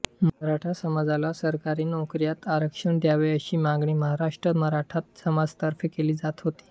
मराठा समाजाला सरकारी नोकऱ्यांत आरक्षण द्यावे अशी मागणी महाराष्ट्रात मराठा समाजातर्फे केली जात होती